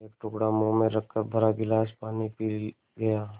एक टुकड़ा मुँह में रखकर भरा गिलास पानी पी गया